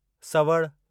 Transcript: सवड़ि